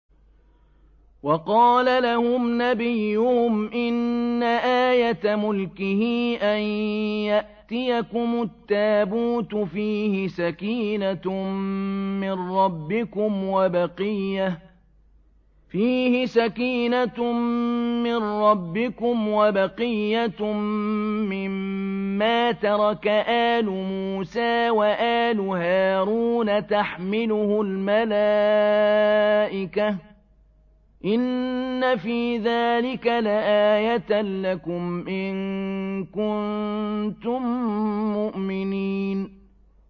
وَقَالَ لَهُمْ نَبِيُّهُمْ إِنَّ آيَةَ مُلْكِهِ أَن يَأْتِيَكُمُ التَّابُوتُ فِيهِ سَكِينَةٌ مِّن رَّبِّكُمْ وَبَقِيَّةٌ مِّمَّا تَرَكَ آلُ مُوسَىٰ وَآلُ هَارُونَ تَحْمِلُهُ الْمَلَائِكَةُ ۚ إِنَّ فِي ذَٰلِكَ لَآيَةً لَّكُمْ إِن كُنتُم مُّؤْمِنِينَ